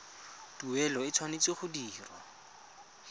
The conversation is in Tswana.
tuelo e tshwanetse go dirwa